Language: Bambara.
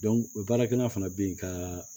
o baarakɛla fana bɛ yen ka